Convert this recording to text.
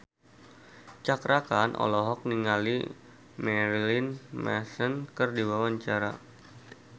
Cakra Khan olohok ningali Marilyn Manson keur diwawancara